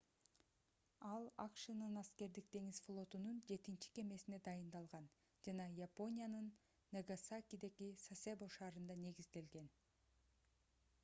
ал акшнын аскердик деңиз флотунун жетинчи кемесине дайындалган жана япониянын нагасакидеги сасебо шаарында негизделген